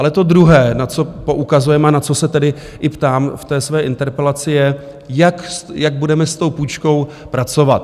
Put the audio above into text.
Ale to druhé, na co poukazujeme, a na co se tedy i ptám v té své interpelaci, je, jak budeme s tou půjčkou pracovat.